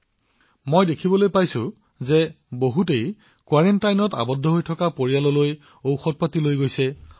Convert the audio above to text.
আজিকালি মই দেখিবলৈ পাইছো যে কোনোবাই কোৱেৰাণ্টাইনত বাস কৰা পৰিয়ালক পাচলি গাখীৰ ফল ঔষধ আদি প্ৰদান কৰি আছে